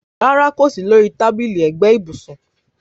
Rárá kò sí lori tábìlì ẹ̀gbẹ́ ibùsùn